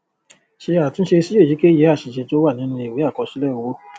ṣe àtúnṣe sí èyíkèyí àṣìṣe tó wà nínú ìwé àkọsílẹ owó